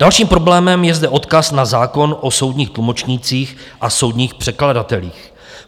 Dalším problémem je zde odkaz na zákon o soudních tlumočnících a soudních překladatelích.